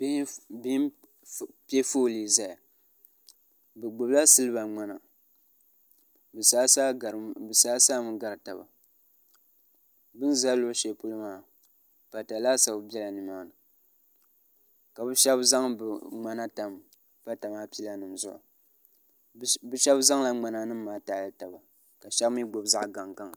bɛhi n pɛƒɔli n zaya be gbabila siliba ŋmɛna di sasami gari taba dini zaa luɣ' shɛli polo maa pata laasabu bɛla ni maa ni ka be shɛbi zaŋ be ŋmɛna tam pata maa zuɣ' be shɛbi zaŋ la ŋmɛna maa taɣili taba